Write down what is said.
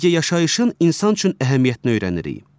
birgə yaşayışın insan üçün əhəmiyyətini öyrənirik.